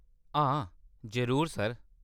हां, जरूर सर।